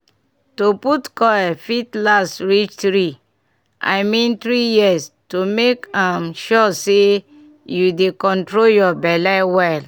to put coil fit last reach 3 i mean — 3yrs to make um sure say you dey control your belle well.